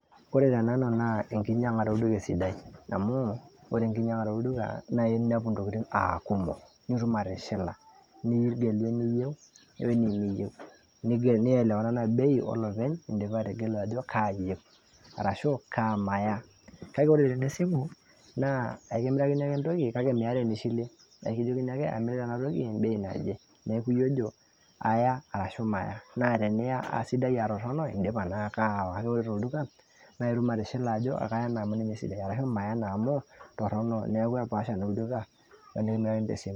ore tenanu naa enkinyiang'are olduka esidai, ore enkinyiang'are olduka naa inyiang'u intokitin aa kumok, nitum atishila. nigelu enyieu wenimiyieu, ore ena naa bei olopeny idipa ategelu ajo kaa iyieu. arashu kaa maya, kake ore tene simu naa ekimerikaini ake entoki kake meeta enishilie. ekijokini ake amirita ena toki ebei naje. nijojo iya ashu maya, kake idipa naake atishila. kake ore tolduka idim atejo kaya ena amu esidai ashu maya ena. neeku ore toduka idi atishila.